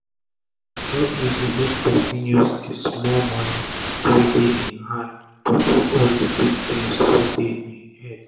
e no easi make pesin use d small moni wey dey e hand pursue all d big dreams wey dey e head